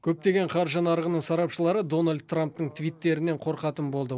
көптеген қаржы нарығының сарапшылары дональд трамптың твиттерінен қорқатын болды